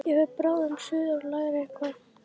Ég fer bráðum suður að læra eitthvað.